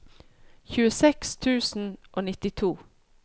tjueseks tusen og nittito